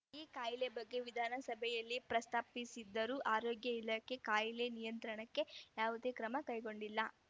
ಈ ಕಾಯಿಲೆ ಬಗ್ಗೆ ವಿಧಾನಸಭೆಯಲ್ಲಿ ಪ್ರಸ್ತಾಪಿಸಿದ್ದರೂ ಆರೋಗ್ಯ ಇಲಾಖೆ ಕಾಯಿಲೆ ನಿಯಂತ್ರಣಕ್ಕೆ ಯಾವುದೇ ಕ್ರಮ ಕೈಗೊಂಡಿಲ್ಲ